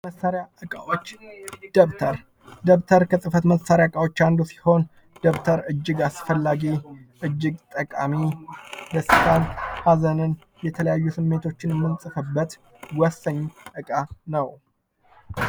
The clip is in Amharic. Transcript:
የጽህፈት መሳሪያ እቃዎች። ደብተር። ደብተር ከጽህፈት መሳሪያ እቃዎች አንዱ ሲሆን ደብተር እጅግ አስፈላጊ፣ እጅግ ጠቃሚ ደስታን፣ ሀዘንን ፣የተለያዩ ስሜቶችን የምንጽፍበት ወሳኝ እቃ ነው።